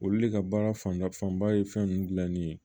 Olu de ka baara fanda fanba ye fɛn nunnu dilanni ye